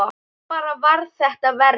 Svo bara varð þetta verra.